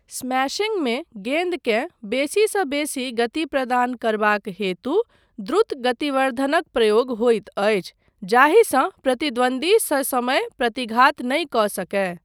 स्मैशिंगमे गेन्दकेँ बेसीसँ बेसी गति प्रदान करबाक हेतु द्रुत गतिवर्धनक प्रयोग होइत अछि जाहिसँ प्रतिद्वन्द्वी ससमय प्रतिघात नहि कऽ सकय।